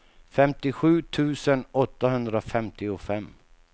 femtiosju tusen åttahundrafemtiofem